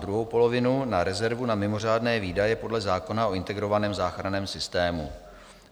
Druhou polovinu na rezervu na mimořádné výdaje podle zákona o integrovaném záchranném systému.